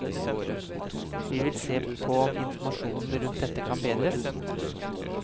Vi vil se på om informasjonen rundt dette kan bedres.